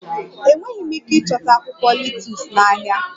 Enweghị m ike ịchọta akwụkwọ letus n'ahịa